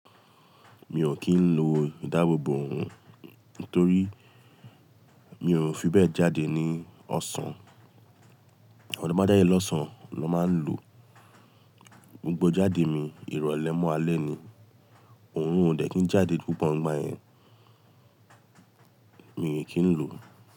Mi ò kí ń lo ìdáàbòbò òun torí mi ò fi bẹ́ẹ̀ jáde ní ọ̀sán. Eni to ba jáde lọ̀sán lọ máa ń lò. Gbogbo ijáde mi ìrọ̀lẹ́ mọ́ alẹ́ ni. Òrun ò dẹ̀ kí ń jáde púpọ̀ nígbà yẹn. Mi ò kí ń lò.